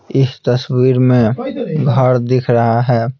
इस तस्वीर में घर दिख रहा है।